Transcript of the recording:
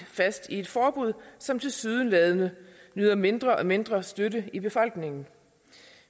fast i et forbud som tilsyneladende nyder mindre og mindre støtte i befolkningen